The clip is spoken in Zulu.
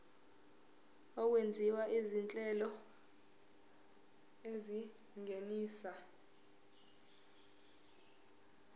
okwenziwa izinhlelo ezingenisa